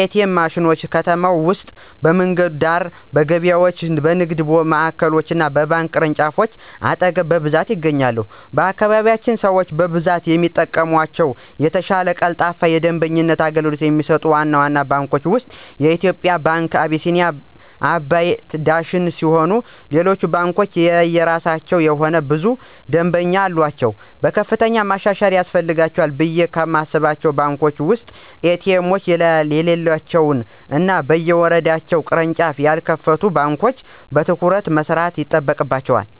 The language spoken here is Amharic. ኤ.ቲ.ኤም ማሽኖች: በከተማ ውስጥ በመንገድ ዳር፣ በገበያዎች፣ በንግድ ማዕከሎች እና በባንክ ቅርንጫፎች አጠገብ በብዛት ይገኛሉ። በአካባቢያችን ሰው በብዛት የሚጠቀምባቸው እና የተሻለ ቀልጣፋ የደንበኞች አገልግሎት ከሚሰጡት ዋና ዋና ባንኮች ውስጥ (የኢትዮጽያ ንግድ ባንክ፣ አቢሲኒያ፣ አባይ እና ዳሽን ሲሆኑ ሌሎች ባንኮችም የየራሳቸው የሆነ ብዙ ደምበኞች አሉአቸው። ከፍተኛ ማሻሻያ ያስፈልጋቸዋል ብየ ከማስባቸው ባንኮች ውስጥ ኤ.ቲ.ኤም የሌላቸው እና በየወረዳው ቅርንጫፍ ያልከፈቱ ባንኮች በትኩረት መስራት ይጠበቅባቸዋል።